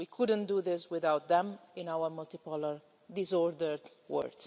We couldn't do this without them in our multipolar, disordered world.